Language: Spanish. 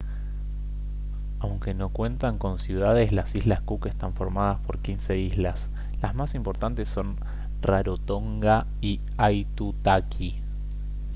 aunque no cuentan con ciudades las islas cook están formadas por 15 islas las más importantes son rarotonga y aitutaki